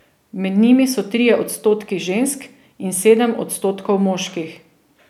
Med njimi so trije odstotki žensk in sedem odstotkov moških.